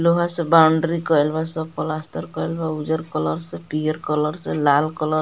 लोहा से बाउंड्री कईल बा सब प्लास्टर कईल बा उजर कलर से पियर कलर से लाल कलर --